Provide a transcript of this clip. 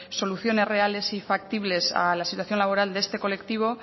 soluciones reales y factibles a la situación laboral de este colectivo